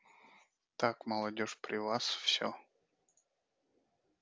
так молодёжь при вас всё